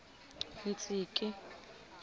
tsinkie